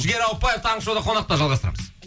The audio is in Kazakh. жігер ауыпбаев таңғы шоуда қонақта жалғастырамыз